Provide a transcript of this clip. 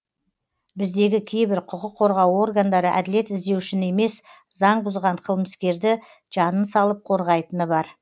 біздегі кейбір құқық қорғау органдары әділет іздеушіні емес заң бұзған қылмыскерді жанын салып қорғайтыны бар